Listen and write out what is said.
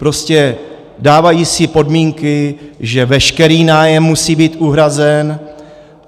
Prostě dávají si podmínky, že veškerý nájem musí být uhrazen.